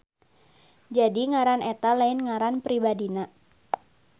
Jadi ngaran eta lain ngaran pribadina.